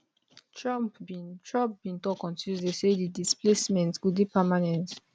trump bin trump bin tok on tuesday say di displacement go dey permanent